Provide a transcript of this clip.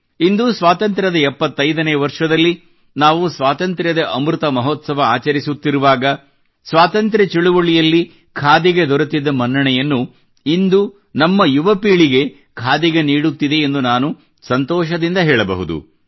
ಇಂದು ಸ್ವಾತಂತ್ರ್ಯದ 75 ವರ್ಷದಲ್ಲಿ ನಾವು ಸ್ವಾತಂತ್ರ್ಯದ ಅಮೃತ ಮಹೋತ್ಸವ ಆಚರಿಸುತ್ತಿರುವಾಗ ಸ್ವಾತಂತ್ರ್ಯದ ಚಳುವಳಿಯಲ್ಲಿ ಖಾದಿಗೆ ದೊರೆತಿದ್ದ ಮನ್ನಣೆಯನ್ನು ಇಂದು ನಮ್ಮ ಯುವ ಪೀಳಿಗೆ ಖಾದಿಗೆ ನೀಡುತ್ತಿದೆ ಎಂದು ನಾನು ಸಂತೋಷದಿಂದ ಹೇಳಬಹುದು